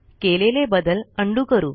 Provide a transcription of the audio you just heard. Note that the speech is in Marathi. केलेले बदल उंडो करू